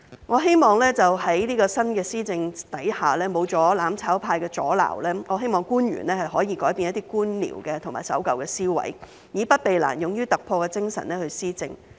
我希望在新的施政下，沒有了"攬炒派"的阻撓，官員可以改變一些官僚及守舊的思維，以不避難、勇於突破的精神去施政。